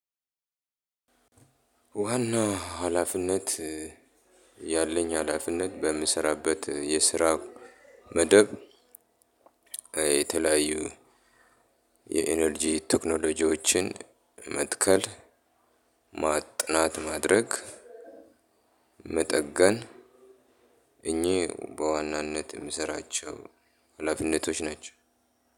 ዋና ሀላፊነት ያለኝ ሀላፊነት በምሰራበት የስራ መደብ የተለያዩ የኢነርጂ ቴክኖሎጂዎችን መትከል ማ ጥናት ማድረግ መጠገን እኚህ በዋናነት እምሰራቸው ሀላፊነቶች ናቸው።